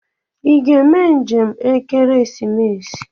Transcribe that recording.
Ị ga eme njem ekeresimesi?